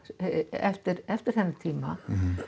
eftir eftir þennan tíma